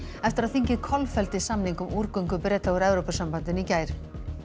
eftir að þingið kolfelldi samning um Breta úr Evrópusambandinu í gær